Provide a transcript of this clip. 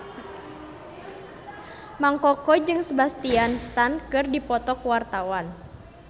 Mang Koko jeung Sebastian Stan keur dipoto ku wartawan